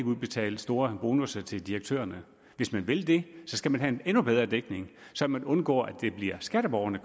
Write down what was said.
udbetale store bonusser til direktørerne hvis man vil det skal man have en endnu højere dækning så man undgår at det bliver skatteborgerne